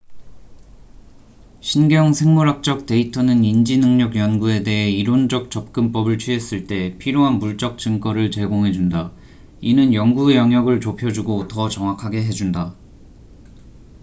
신경 생물학적 데이터는 인지 능력 연구에 대해 이론적 접근법을 취했을 때 필요한 물적 증거를 제공해 준다 이는 연구영역을 좁혀주고 더 정확하게 해준다